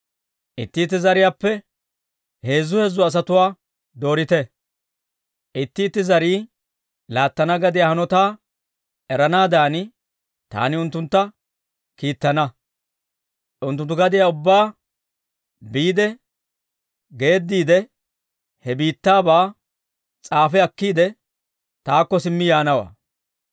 Itti itti zariyaappe heezzu heezzu asatuwaa doorite. Itti itti zarii laattana gadiyaa hanotaa eranaadan, taani unttuntta kiittana. Unttunttu gadiyaa ubbaa biide geediidde he biittaabaa s'aafi akkiide, taakko simmi yaanawantta.